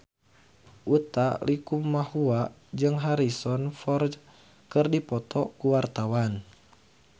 Utha Likumahua jeung Harrison Ford keur dipoto ku wartawan